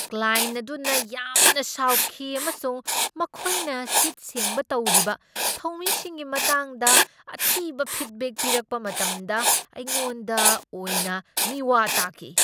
Client ꯑꯗꯨꯅ ꯌꯥꯝꯅ ꯁꯥꯎꯈꯤ ꯑꯃꯁꯨꯡ ꯃꯈꯣꯏꯅ ꯁꯤꯠ ꯁꯦꯡꯕ ꯇꯧꯔꯤꯕ ꯊꯧꯃꯤꯁꯤꯡꯒꯤ ꯃꯇꯥꯡꯗ ꯑꯊꯤꯕ ꯐꯤꯗꯕꯦꯛ ꯄꯤꯔꯛꯄ ꯃꯇꯝꯗ ꯑꯩꯉꯣꯟꯗ ꯑꯣꯏꯅ ꯃꯤꯋꯥ ꯇꯥꯈꯤ꯫